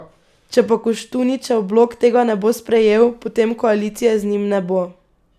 Če pa Koštuničev blok tega ne bo sprejel, potem koalicije z njim ne bo.